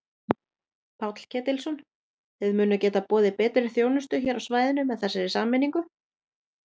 Páll Ketilsson: Þið munið geta boðið betri þjónustu hér á svæðinu með þessari sameiningu?